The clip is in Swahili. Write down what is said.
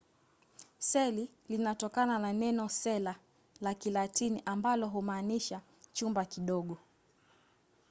seli linatokana na neno cella la kilatini ambalo humaanisha chumba kidogo